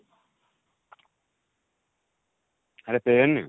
ଆରେ pen